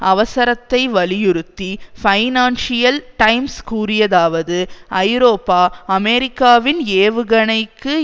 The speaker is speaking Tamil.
அவசரத்தைவலியுறுத்தி பைனான்சியல் டைம்ஸ் கூறியதாவது ஐரோப்பா அமெரிக்காவின்ஏவுகணைக்கு